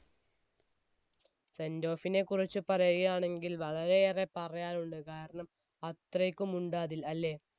sendoff നെ കുറിച്ച് പറയുകയാണെങ്കിൽ വളരെ ഏറെ പറയാനുണ്ട് കാരണം അത്രക്കും ഉണ്ട് അതിൽ അല്ലെ